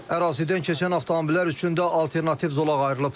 Ərazidən keçən avtomobillər üçün də alternativ zolaq ayrılıb.